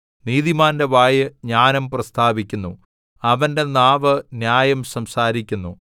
നീതിമാന്റെ വായ് ജ്ഞാനം പ്രസ്താവിക്കുന്നു അവന്റെ നാവ് ന്യായം സംസാരിക്കുന്നു